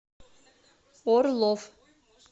орлов